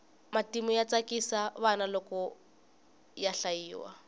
matimu ya tsakisa vana loko ya hlayiwa